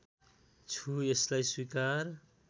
छु यसलाई स्वीकार